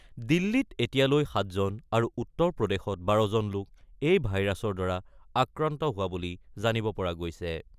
দিল্লীত এতিয়ালৈ ৭ জন আৰু উত্তৰ প্ৰদেশত ১২ জন লোক এই ভাইৰাছৰ দ্বাৰা আক্ৰান্ত হোৱা বুলি জানিব পৰা গৈছে।